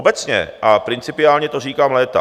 Obecně a principiálně to říkám léta.